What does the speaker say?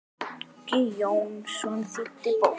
Uggi Jónsson þýddi bókina.